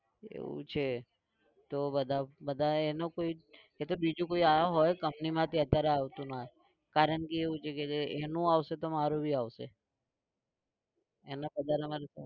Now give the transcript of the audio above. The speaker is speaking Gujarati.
એવું છે તો બધા બધા એનું કોઈ એ તો બીજું કોઈ આવ્યો હોય company માંથી અત્યારે આવતું ના હોય કારણ કે એવું છે કે જે એનું આવશે તો મારું भी આવશે